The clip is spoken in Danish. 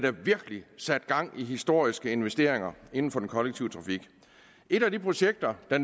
sat gang i historiske investeringer inden for den kollektive trafik et af de projekter der